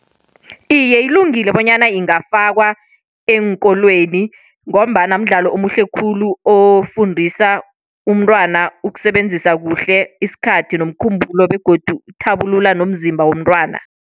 Iye, ilungile bonyana ingafakwa eenkolweni ngombana mdlalo omuhle khulu, ofundisa umntwana ukusebenzisa kuhle isikhathi nomkhumbulo, begodu uthabulula nomzimba womntwana.